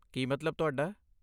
ਕੀ ਮਤਲਬ ਤੁਹਾਡਾ?